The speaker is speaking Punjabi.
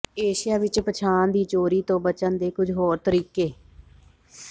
ਏਸ਼ੀਆ ਵਿਚ ਪਛਾਣ ਦੀ ਚੋਰੀ ਤੋਂ ਬਚਣ ਦੇ ਕੁਝ ਹੋਰ ਤਰੀਕੇ